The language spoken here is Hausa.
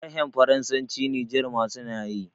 harhen faransanci niger ma suna yi